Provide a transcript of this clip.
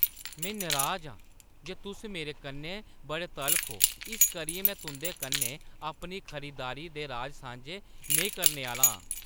में नराज आं जे तुस मेरे कन्नै बड़े तलख ओ इस करियै में तुंʼदे कन्नै अपनी खरीदारी दे राज़ सांझे नेईं करने आह्‌ली आं।